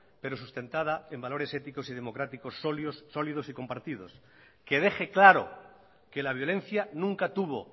perosustentada en valores éticos y democrático sólidos y compartidos que deje claro que la violencia nunca tuvo